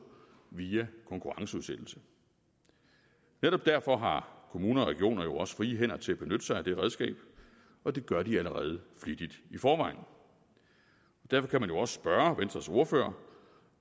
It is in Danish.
via konkurrenceudsættelse netop derfor har kommuner og regioner jo også frie hænder til at benytte sig af det redskab og det gør de allerede flittigt i forvejen derfor kan man jo også spørge venstres ordfører